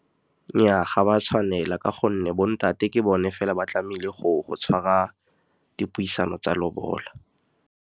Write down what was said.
Nnyaa, ga ba tshwanela ka gonne bo ntate ke bone fela ba tlamehile go tshwara dipuisano tsa lobola.